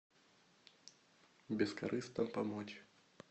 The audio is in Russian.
бескорыстно помочь